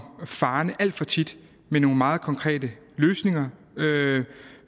farende alt for tit med nogle meget konkrete løsninger